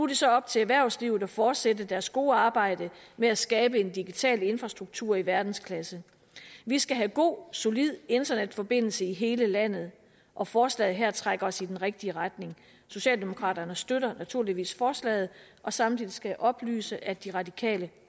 det så op til erhvervslivet at fortsætte deres gode arbejde med at skabe en digital infrastruktur i verdensklasse vi skal have god og solid internetforbindelse i hele landet og forslaget her trækker os i den rigtige retning socialdemokraterne støtter naturligvis forslaget og samtidig skal jeg oplyse at de radikale